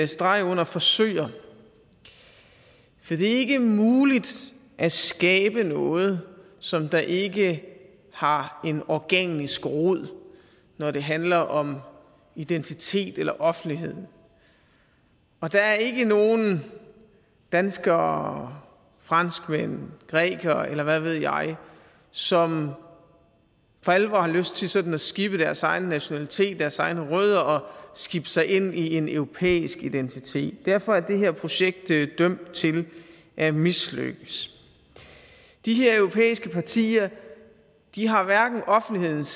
streg under forsøger for det er ikke muligt at skabe noget som der ikke har en organisk rod når det handler om identitet eller offentlighed der er ikke nogen danskere franskmænd grækere eller hvad ved jeg som for alvor har lyst til sådan at skippe deres egen nationalitet deres egne rødder og skibe sig ind i en europæisk identitet derfor er det her projekt dømt til at mislykkes de her europæiske partier har hverken offentlighedens